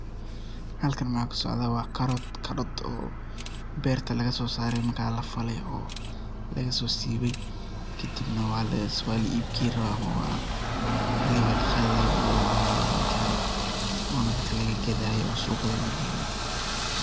Halkan maxa kasocda wa karot, karot oo berta laga sosare marka lafaley oo lagaso sibey kadib nah, wa laa ib geyni rabaa xiligi laqaday oo lacunay aya lagarey ona dadka laga gaday oo suqyada la geynay aya lagarey.